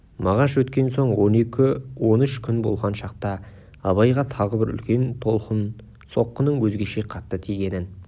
мағаш өткен соң он екі-он үш күн болған шақта абайға тағы бір үлкен толқын соққының өзгеше қатты тигенін